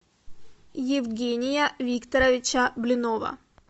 евгения викторовича блинова